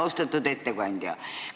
Austatud ettekandja!